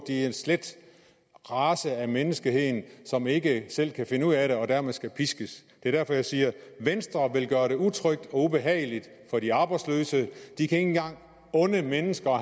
er en slet race af menneskeheden som ikke selv kan finde ud af det og dermed skal piskes det er derfor jeg siger at venstre vil gøre det utrygt og ubehageligt for de arbejdsløse de kan ikke engang unde de mennesker